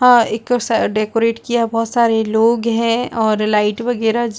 अ एक सा डेकोरेट किया बहुत सारे लोग है और लाइट वगैरह --